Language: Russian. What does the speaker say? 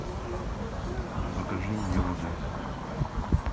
закажи мне воды